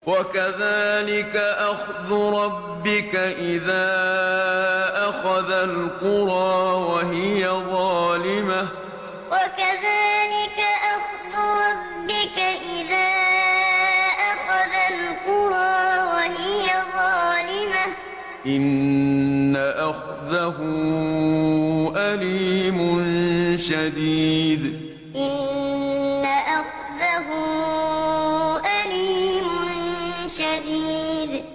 وَكَذَٰلِكَ أَخْذُ رَبِّكَ إِذَا أَخَذَ الْقُرَىٰ وَهِيَ ظَالِمَةٌ ۚ إِنَّ أَخْذَهُ أَلِيمٌ شَدِيدٌ وَكَذَٰلِكَ أَخْذُ رَبِّكَ إِذَا أَخَذَ الْقُرَىٰ وَهِيَ ظَالِمَةٌ ۚ إِنَّ أَخْذَهُ أَلِيمٌ شَدِيدٌ